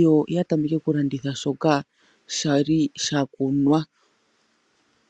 yo ya tameke okulanditha shoka sha li sha kunwa.